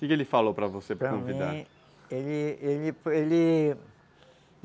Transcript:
O que que ele falou para você, para convidar? Ele, ele